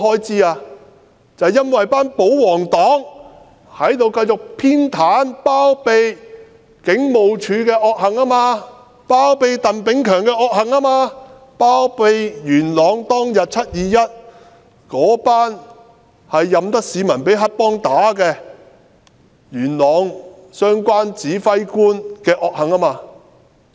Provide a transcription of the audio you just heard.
就是因為保皇黨繼續偏袒和包庇警務處的惡行，包庇鄧炳強的惡行，包庇在元朗"七二一"事件當天，那些任由市民被黑幫毆打的元朗相關指揮官的惡行。